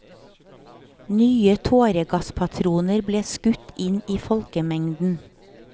Nye tåregasspatroner ble skutt inn i folkemengden.